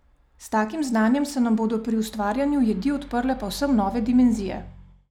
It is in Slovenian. S takim znanjem se nam bodo pri ustvarjanju jedi odprle povsem nove dimenzije.